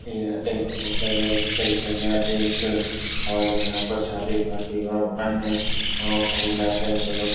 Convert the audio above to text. यह एक होटल है। होटल के एक हॉल है जहाँ पर शादी पार्टी एवं अन्य अ ऑर्गेनाईजन एवं --